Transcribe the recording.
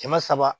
Kɛmɛ saba